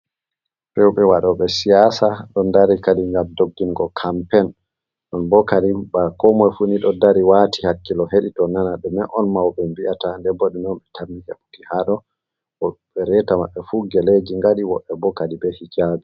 Rewɓe wado ɓe siyasa don dari kali gam doggingo kampen ɗon bokali ba ko moi fu nido dari wati hakkilo hedi to nana de me on mauɓe mbi'ata de bodi non be tammi heɓuki hado obe reta maɓɓe fu geleji gadiwoɓe bokali be hijabi.